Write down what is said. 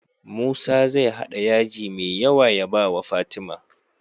Musa zai hada yaji me yawa ya bawa fatima